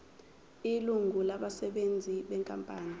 ilungu labasebenzi benkampani